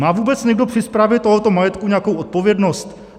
Má vůbec někdo při správě tohoto majetku nějakou odpovědnost?